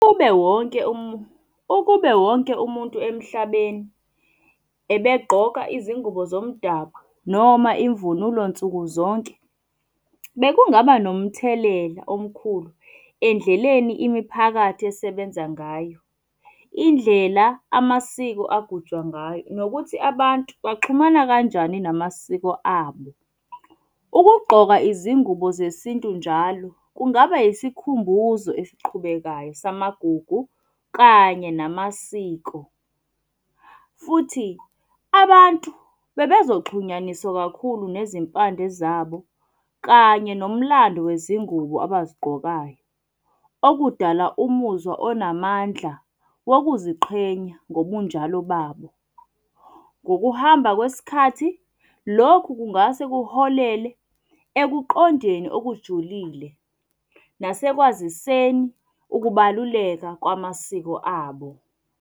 Ube wonke , ukube wonke umuntu emhlabeni ebegqoka izingubo zomdabu noma imvunulo nsuku zonke, bekungaba nomthelela omkhulu endleleni imiphakathi esebenza ngayo. Indlela amasiko agujwa ngayo nokuthi abantu baxhumana kanjani namasiko abo. Ukugqoka izingubo zesintu njalo kungaba yisikhumbuzo eziqhubekayo samagugu kanye namasiko. Futhi abantu bebezoxhunyaniswa kakhulu nezimpande zabo kanye nomlando wezingubo abazigqokayo, okudala umuzwa onamandla wokuziqhenya ngobunjalo babo. Ngokuhamba kwesikhathi, lokhu kungase kuholele ekuqondeni okujulile nasekwaziseni ukubaluleka kwamasiko abo.